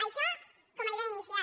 això com a idea inicial